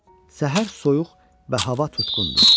Səhər soyuq və hava tutqundur.